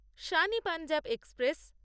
Shan e Punjab express